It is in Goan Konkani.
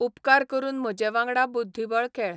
उपकार करून म्ह्जे वांगडा बुद्दीबळ खेळ